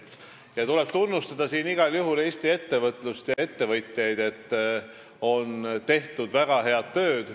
Siinkohal tuleb igal juhul tunnustada Eesti ettevõtlust ja ettevõtjaid, et on tehtud väga head tööd.